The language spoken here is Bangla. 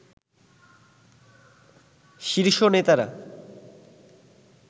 শীর্ষ নেতারা